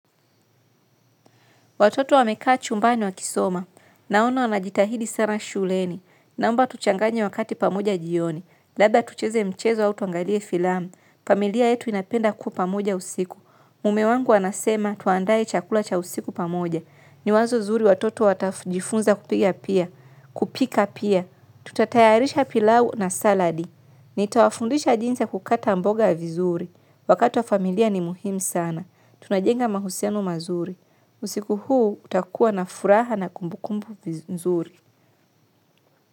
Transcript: Watoto wamekaa chumbani wakisoma. Naona wanajitahidi sana shuleni. Naomba tuchanganye wakati pamoja jioni. Labda tucheze mchezo au tuangalie filam. Familia yetu inapenda kuwa pamoja usiku. Mume wangu anasema tuandae chakula cha usiku pamoja. Ni wazo zuri watoto watajifunza kupika pia. Kupika pia. Tutatayarisha pilau na saladi. Nitawafundisha jinsi ya kukata mboga vizuri wakati wa familia ni muhimu sana. Tunajenga mahusiano mazuri. Usiku huu utakuwa na furaha na kumbukumbu vizuri.